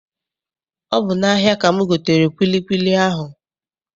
Ọ bụ n'ahia ka m gotere kwilikwili ahụ